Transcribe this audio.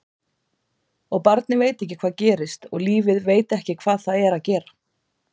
Og barnið veit ekki hvað gerist og lífið veit ekki hvað það er að gera.